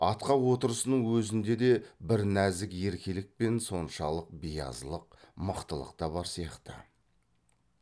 атқа отырысының өзінде де бір нәзік еркелік пен соншалық биязылық мықтылық та бар сияқты